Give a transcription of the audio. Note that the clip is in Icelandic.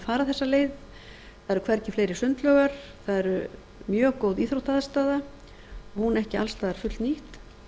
fara þessa leið það eru hvergi fleiri sundlaugar það er mjög góð íþróttaaðstaða og hún ekki alls staðar fullnýtt